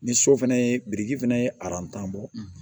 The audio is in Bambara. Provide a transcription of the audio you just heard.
Ni so fana ye biriki fɛnɛ ye bɔ